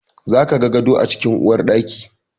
Za ka ga gado a cikin uwarɗaki.